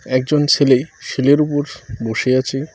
একজন ছেলে শিলের উপর বসে আছে।